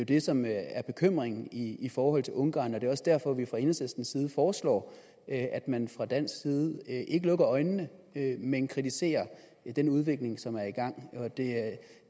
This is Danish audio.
det som er bekymringen i forhold til ungarn og det er også derfor vi fra enhedslistens side foreslår at at man fra dansk side ikke lukker øjnene men kritiserer den udvikling som er i gang